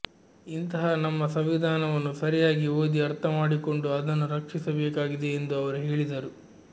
ಇಂತಹ ನಮ್ಮ ಸಂವಿಧಾನವನ್ನು ಸರಿಯಾಗಿ ಓದಿ ಅರ್ಥಮಾಡಿಕೊಂಡು ಅದನ್ನು ರಕ್ಷಿಸಬೇಕಾಗಿದೆ ಎಂದು ಅವರು ಹೇಳಿದರು